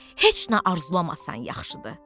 Heç nə arzulamasan yaxşıdır.